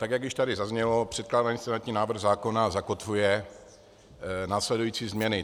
Tak jak už tady zaznělo, předkládaný senátní návrh zákona zakotvuje následující změny.